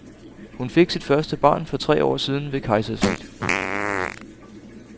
Hun fik sit første barn for tre år siden ved kejsersnit.